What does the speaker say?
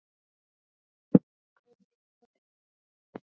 Ég kom líka við það.